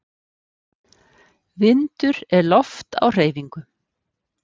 Vindur er loft á hreyfingu.